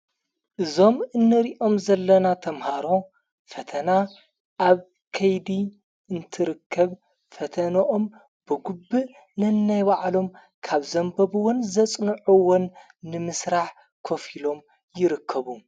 እዞም እነሪኦም ዘለና ተምሃሮ ፈተና ኣብ ከይዲ እንትርከብ ፈተንኦም ብጉብእ ነናይባዕሎም ካብ ዘንበብዎን ዘጽንዑዎን ንምሥራሕ ኮፍ ኢሎም ይርከቡ።